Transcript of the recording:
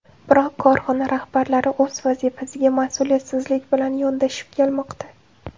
Biroq korxona rahbarlari o‘z vazifasiga mas’uliyatsizlik bilan yondashib kelmoqda.